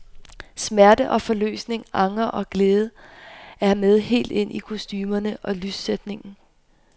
Smerte og forløsning, anger og glæde er med helt ind i kostumerne og lyssætningen.